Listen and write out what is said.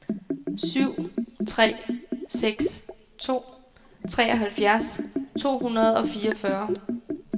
syv tre seks to treoghalvfjerds to hundrede og fireogfyrre